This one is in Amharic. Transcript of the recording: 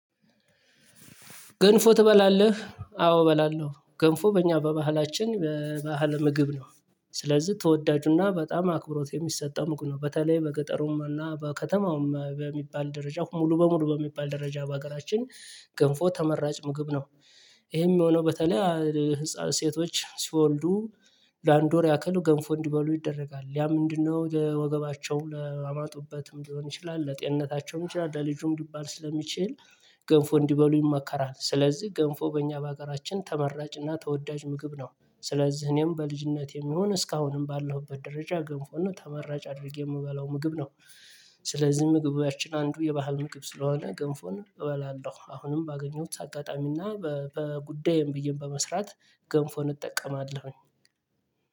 ገንፎ ትበላለህ አዎ እበላለሁ ገንፎ በእኛ በባህላችን በባህል ምግብ ነው። ስለዚህ ተወዳጁና በጣም አክብሮት የሚሰጠው ሙቅ ነው በተለይ በገጠሩማና በከተማውም በሚባል ደረጃ ሙሉ በሙሉ በሚባል ደረጃ በሀገራችን ገንፎ ተመራጭ ምግብ ነው። ይሄም የሚሆነው በተለይ ህፃን ሴቶች ሲወልዱ ለአንድ ወር ያክል ገንፎ እንዲበሉ ይደረጋል ያ ምንድነው የወገባቸው ላማጡበትም ሊሆን ይችላል። ለጤንነታቸውም ይችላል ለልጁም ሊባል ስለሚችል ገንፎ እንዲበሉ ይመከራል። ስለዚህ ገንፎ በእኛ በአገራችን ተመራጭና ተወዳጅ ምግብ ነው። ስለዚህ እኔም በልጅነቴም ይሁን እስካሁንም ባለሁበት ደረጃ ገንፎና ተመራጭ አድርጌ የምበላው ምግብ ነው። ስለዚህ ምግባችን አንዱ የባህል ምግብ ስለሆነ ገንፎን እበላለሁ። አሁንም ባገኘሁት አጋጣሚና በጉዳይም ብዬም በመስራት ገንፎ እንጠቀማለን።